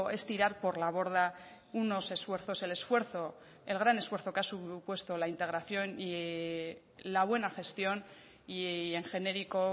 es tirar por la borda unos esfuerzos el esfuerzo el gran esfuerzo que ha supuesto la integración y la buena gestión y en genérico